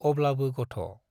अब्लाबो गथ'।